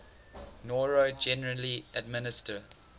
noro generally administer